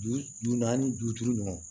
Ju naani ju duuru ɲɔgɔn